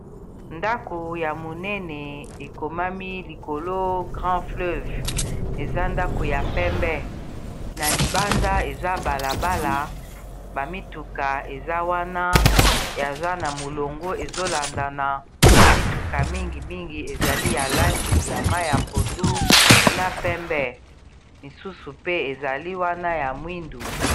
Ndako ya monene ekomami likolo grand fleuve eza ndako ya pembe na libanda eza balabala bamituka eza wana yaza na molongo ezolanda na mituka mingi mingi ezali ya langi ya mai ya pondu na pembe misusu pe ezali wana ya mwindu.